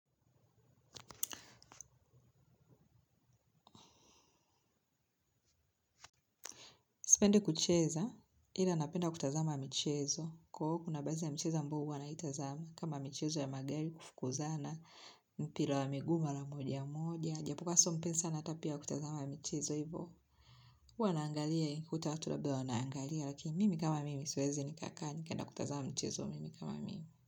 Sipendi kucheza, ila napenda kutazama mchezo kokuna baadhi ya mchezo ambayo huwa naitazama. Kama mchezo ya magari kufukuzana, mpira wa miguu mara moja moja. Japo kuwa sio mpenzi hata pia wa kutazama michezo hivo. Huwa wanaangalia, nikikuta watu labda wanaangalia. Lakini mimi kama mimi siwezi nikaka nikaenda kutazama mchezo mimi kama mimi.